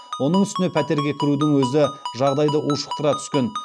оның үстіне пәтерге кірудің өзі жағдайды ушықтыра түскен